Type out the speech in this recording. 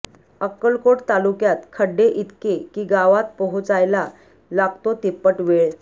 अक्कलकोट तालुक्यात खड्डे इतके की गावात पोहोचायला लागतो तिप्पट वेळ